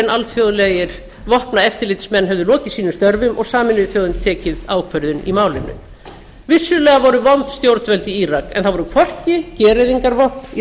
alþjóðlegir vopnaeftirlitsmenn höfðu lokið sínum störfum og sameinuðu þjóðirnar tekið ákvörðun í málinu vissulega voru vond stjórnvöld í írak en það voru hvorki gereyðingarvopn í